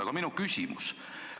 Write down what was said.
Aga minu küsimus on selline.